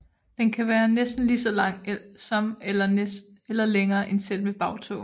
Den kan være næsten lige så lang som eller længere end selve bagtåen